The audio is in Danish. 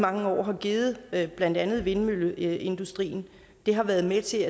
mange år har givet til blandt andet vindmølleindustrien har været med til